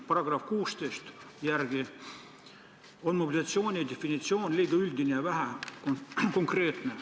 Paragrahvis 16 toodud mobilisatsiooni definitsioon on liiga üldine ja vähekonkreetne.